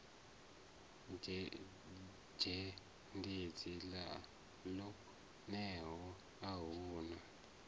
dzhendedzi ḽo teaho a huna